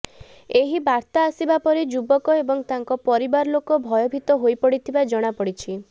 ଏହି ବାର୍ତ୍ତା ଆସିବା ପରେ ଯୁବକ ଏବଂ ତାଙ୍କ ପରିବାର ଲୋକ ଭୟଭୀତ ହୋଇ ପଡ଼ିଥିବା ଜଣା ପଡ଼ିଛି